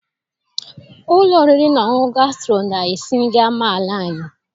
Ụlọ oriri na ọṅụṅụ Gasturo na-esi nri amaala anyị